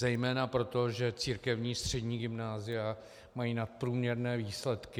Zejména proto, že církevní střední gymnázia mají nadprůměrné výsledky.